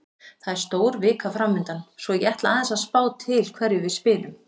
Það er stór vika framundan svo ég ætla aðeins að sjá til hverjum við spilum.